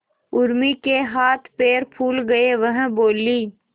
उर्मी के हाथ पैर फूल गए वह बोली